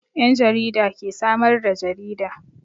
Yan jarida ke samar da jarida.